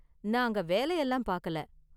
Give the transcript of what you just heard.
நான் அங்க வேலையெல்லாம் பாக்கல.